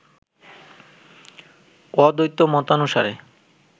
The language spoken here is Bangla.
অদ্বৈত মতানুসারে